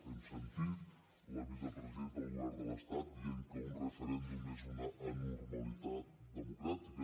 hem sentit la vicepresidenta del govern de l’estat dient que un referèndum és una anormalitat democràtica